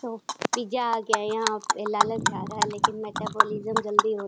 तो पिज़्ज़ा आ गया यहाँ पे लालच आ रहा है लेकिन जल्दी हो --